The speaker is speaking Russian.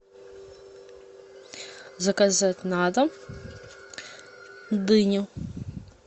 заказать на дом дыню